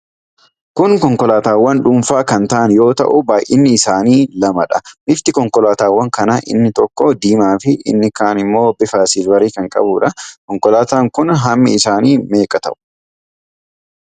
Kun konkolaatawwan dhuunfaa kan ta'an yoo ta'u baay'inni isaanii lamadha. Bifti konkolaatawwan kana inni tokko diimaa fi inni kaan ammoo bifa silvarii kan qabuudha. Konkolaattonni kun hammi isaanii meeqa ta'u?